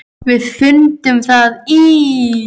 Við fundum það í